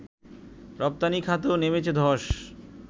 রপ্তানি খাতেও নেমেছে ধস